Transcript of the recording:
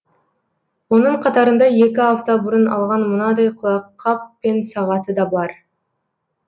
оның қатарында екі апта бұрын алған мынадай құлаққап пен сағаты да бар